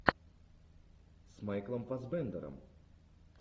с майклом фассбендером